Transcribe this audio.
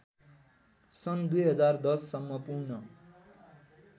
सन् २०१०सम्म पूर्ण